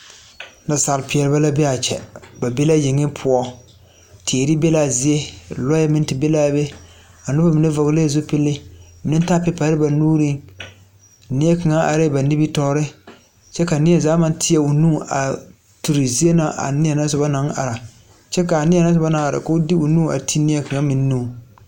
Nasaalpeɛle la be a kyɛ ba be la yeŋe poɔ teere be la a zie lɔɛ meŋ te be l,a be a noba mine vɔglɛɛ zupile mine taaɛ pepari ba nuuriŋneɛ kaŋa arɛɛ ba nimitɔɔre kyɛ ka neɛ zaa maŋ teɛ o nu a turi zie na a neɛ na soba naŋ are kyɛ k,a neɛ na soba naŋ are k,o de o nu a ti neɛ kaŋa meŋ nuŋ.